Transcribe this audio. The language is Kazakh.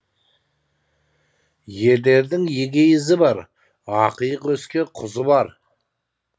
ерлердің егей ізі бар ақиық өскен құзы бар